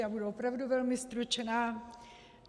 Já budu opravdu velmi stručná.